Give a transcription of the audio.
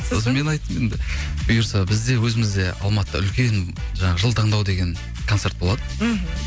сосын мен айттым енді бұйырса бізде өзімізде алматыда үлкен жаңағы жыл таңдауы деген концерт болады мхм